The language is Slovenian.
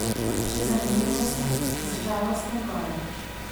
Še zanimivost z Žalostne gore.